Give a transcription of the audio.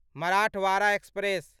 Marathwada express